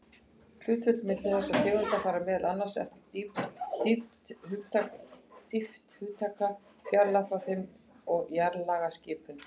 Hlutföllin milli þessara tegunda fara meðal annars eftir dýpt upptaka, fjarlægð frá þeim og jarðlagaskipan.